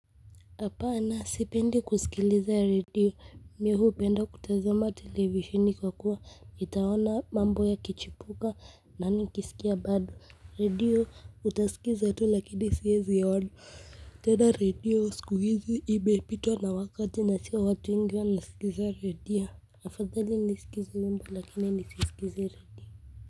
Hapana sipendi kusikiliza redio mimi hupenda kutazama televisheni kwa kuwa nitaona mambo ya kichipuka na nikisikia bado redio utasikiliza tu lakini siwezi ona tena redio siku hizi imepitwa na wakati na sio watu wengi wanasikiliza redio. Afadhali nisikilize wimbo lakini nisisikilize redio.